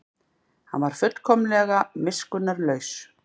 Hann var fullkomlega miskunnarlaus.